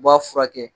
U b'a furakɛ